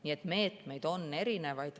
Nii et meetmeid on erinevaid.